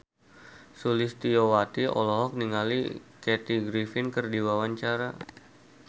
Sulistyowati olohok ningali Kathy Griffin keur diwawancara